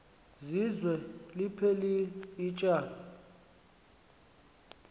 zizwe liphelil ityala